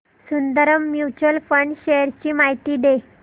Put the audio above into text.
Sundaram mutual fund shares ची माहिती दे